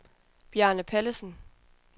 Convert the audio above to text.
Bjarne Pallesen